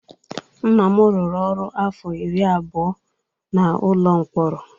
Nna m rụrụ ọrụ afọ iri abụọ n'ụlọ mkpọrọ.